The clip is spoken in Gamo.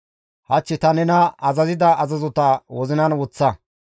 Hach ta nena azazida azazota wozinan woththa.